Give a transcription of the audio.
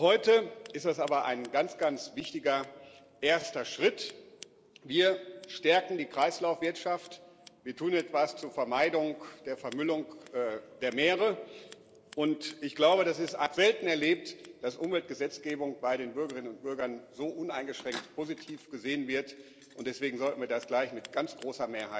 Für heute ist das aber ein ganz, ganz wichtiger erster Schritt Wir stärken die Kreislaufwirtschaft, wir tun etwas zur Vermeidung der Vermüllung der Meere, und ich habe selten erlebt, dass Umweltgesetzgebung bei den Bürgerinnen und Bürgern so uneingeschränkt positiv gesehen wird, und deswegen sollten wir das gleich mit ganz großer Mehrheit beschließen.